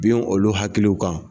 Bin olu hakiliw kan.